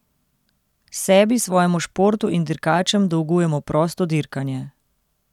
Sebi, svojemu športu in dirkačem dolgujemo prosto dirkanje.